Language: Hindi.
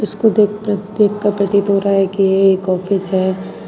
कूदेख प्रद देख कर प्रतीत हो रहा है कि ये एक ऑफिस है।